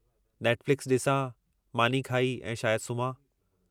Netflix ॾिसां, मानी खाई ऐं शायदि सुम्हां।